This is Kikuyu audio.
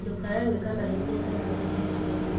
"Ndũkaae gwĩka mahĩtia ta marĩa ndeekire."